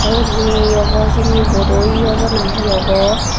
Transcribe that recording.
te ugun he obo hijeni board iyo obo na he obo.